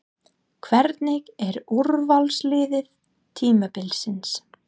Hvernig er úrvalsliðið tímabilsins?